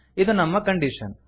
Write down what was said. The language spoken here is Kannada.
ಇದು ನಮ್ಮ ಕಂಡೀಶನ್